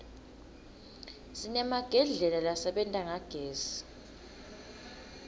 sinemagedlela lasebenta ngagezi